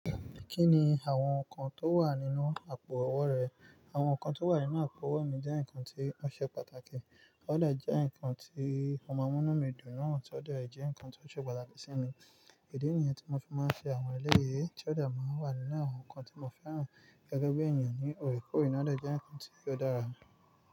Kí ni àwọn nǹkan tó wà nínú àpò-ọwọ́ rẹ? Àwọn ǹkan tó wà nínú àpò-ọwọ́ mi jẹ́ nkan tí ó ṣe pàtàkì. Ó dà jẹ́ ǹkan tí o maa n mú nú mi dùn náà tí ó de jẹ́ ǹkan tí ó ṣe pàtàkì sí mi. Idi nìyẹn tí mo fi máa ń ṣe àwọn eléyè, tí ó de máa ń wà nínú àwọn nǹkan tí mo fẹ́ràn. Gẹ́gẹ́ bí èèyàn ni òrè kó re, ó dà jẹ́ nǹkan tí ó dára.